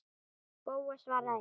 Bóas svaraði engu.